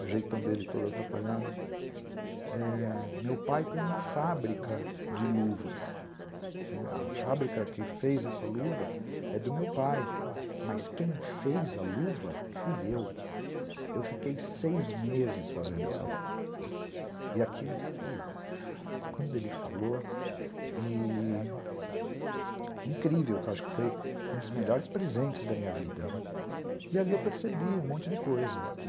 o jeitão dele todo atrapalhado, meu pai tem uma fábrica de luvas. A fábrica que fez essa luva é do meu pai, mas quem fez a luva fui eu. Eu fiquei seis meses fazendo essa luva. E aquilo quando ele falou e incrível, acho que foi um dos melhores presentes da minha vida. E ali eu percebi um monte de coisa que